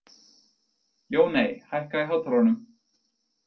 Jóney, hækkaðu í hátalaranum.